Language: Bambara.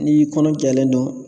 N'i kɔnɔ tɔlen don.